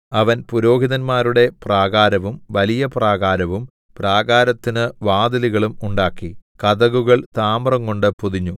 അവൻ പുരോഹിതന്മാരുടെ പ്രാകാരവും വലിയ പ്രാകാരവും പ്രാകാരത്തിന് വാതിലുകളും ഉണ്ടാക്കി കതകുകൾ താമ്രംകൊണ്ട് പൊതിഞ്ഞു